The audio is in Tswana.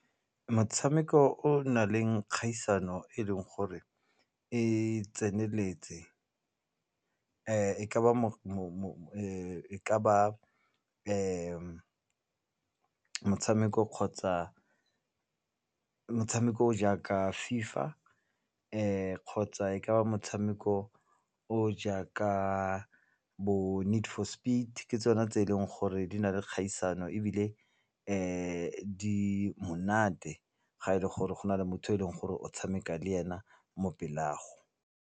Motshameko o na leng kgaisano e leng gore e tseneletse motshameko kgotsa motshameko o jaaka fifa kgotsa e ka ba motshameko o jaaka bo need for speed ke tsone tse e leng gore di na le kgaisano ebile di monate ga e le gore go na le motho yo e leng gore o tshameka le ena mo pele ga gago.